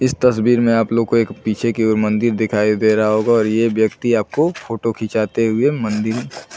इस तस्वीर में आप लोग को एक पीछे की ओर मंदिर दिखाई दे रहा है होगा और ये व्यक्ति आपको फोटो खिचाते हुए मंदिर--